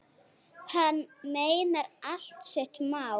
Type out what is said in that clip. Hann meinar allt sitt mál.